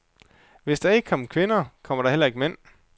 Hvis der ikke kom kvinder, kom der heller ikke mænd.